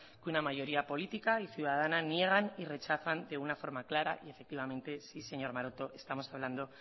que una mayoría política y ciudadana niegan y rechazan de una forma clara y efectivamente sí señor maroto estamos hablando